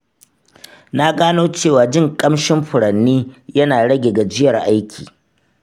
Na gano cewa jin ƙamshin furanni yana rage gajiyar aiki.